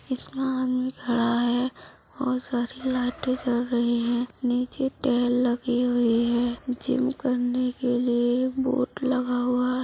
इसमें आदमी खड़ा है और सारी लाइटें जल रहीं हैं। निचे लगी हुई है। जिम करने के लिए बोर्ड लगा हुआ है।